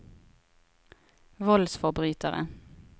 voldsforbrytere